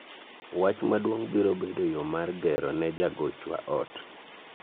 wach maduong' biro bedo yoo mar gero ne jagochwa ot